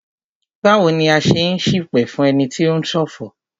Báwo ni a ṣe n ṣipẹ̀ fún ẹni tí o ń ṣọ̀fọ̀?